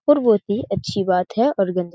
और बहुत ही अच्छी बात है और गन्दी --